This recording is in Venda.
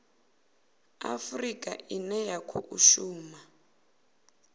afurika ine ya khou shuma